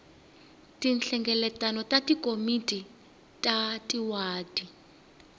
tinhlengeletano ta tikomiti ta tiwadi